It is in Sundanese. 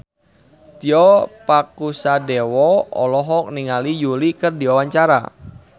Tio Pakusadewo olohok ningali Yui keur diwawancara